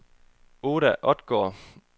Oda Odgaard